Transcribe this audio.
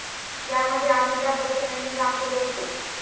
या मध्ये अमिताभ बच्चन यांनी काम केले होते.